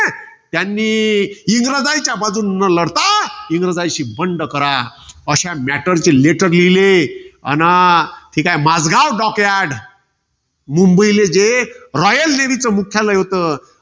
त्यांनी, इंग्रजांच्या बाजूनं न लढता. इंग्रजांशी बंड करा. अश्या matter चे letter लिहिले. अन हे काय माजगाव docyard मुंबईले जे royal navy चं मुख्यालय होतं.